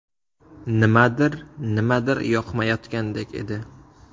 Nimadir, nimadir yoqmayotgandek edi.